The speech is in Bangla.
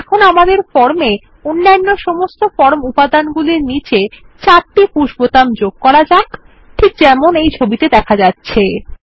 এখন আমাদের ফর্ম এ অন্যান্য সমস্ত ফর্ম উপাদানগুলির নীচে চারটি পুশ বোতাম যোগ করা যাক যেমন এই ছবিটিত়ে দেখা যাচ্ছে